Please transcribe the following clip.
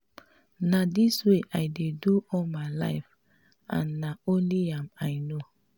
na dis wey i dey do all my life and na only am i no